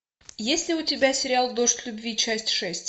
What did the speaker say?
есть ли у тебя сериал дождь любви часть шесть